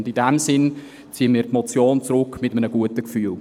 In diesem Sinne ziehen wir die Motion zurück – mit einem guten Gefühl.